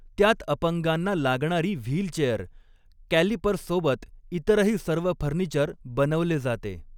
त्यात अपंगाना लागणारी व्हीलचेअर, कॅलिपर्ससोबत इतरही सर्व फर्निचर बनवले जाते.